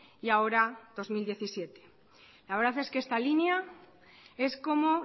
y ahora dos mil diecisiete la verdad es que esta línea es como